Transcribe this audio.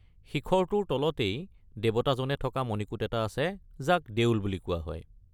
শিখৰটোৰ তলতেই দেৱতাজনে থকা মণিকূট এটা আছে যাক দেউল বুলি কোৱা হয়।